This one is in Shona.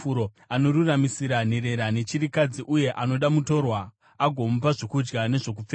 Anoruramisira nherera nechirikadzi, uye anoda mutorwa, agomupa zvokudya nezvokupfeka.